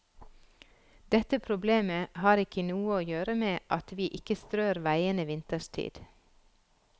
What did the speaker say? Dette problemet har ikke noe å gjøre med at vi ikke strør veiene vinterstid.